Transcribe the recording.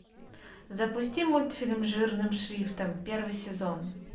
запусти мультфильм жирным шрифтом первый сезон